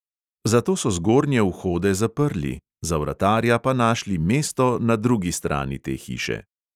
Zato so zgornje vhode zaprli, za vratarja pa našli mesto na drugi strani te hiše.